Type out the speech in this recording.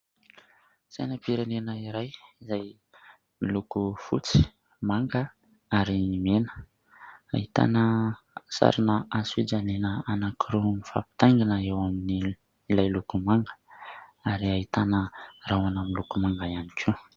Sainampirenena iray izay miloko fotsy, manga ary ny mena. Ahitana sarina hazo fijaliana anankiroa mifampitaingina eo amin'ny ilay loko manga ary ahitana rahona miloko manga ihany koa.